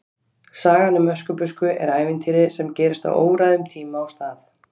Sagan um Öskubusku er ævintýri sem gerist á óræðum tíma og stað.